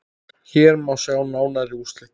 Hér má sjá nánari úrslit.